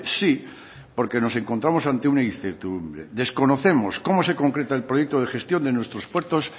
sí porque nos encontramos ante una incertidumbre desconocemos cómo se concreta el proyecto de gestión de nuestros puertos